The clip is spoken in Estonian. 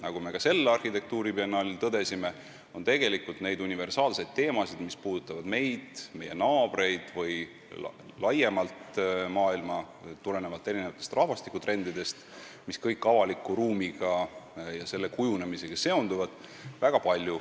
Nagu me sel arhitektuuribiennaalil tõdesime, on väga palju selliseid universaalseid teemasid, mis puudutavad meid, meie naabreid või laiemalt maailma, tulenevalt rahvastikutrendidest, mis seonduvad avaliku ruumi ja selle kujunemisega.